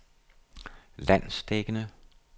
landsdækkende